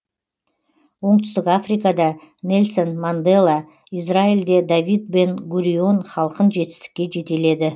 оңтүстік африкада нельсон мандела израильде давид бен гурион халқын жетістікке жетеледі